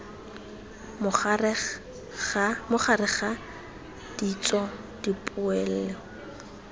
mo gareg ga ditso dipoelo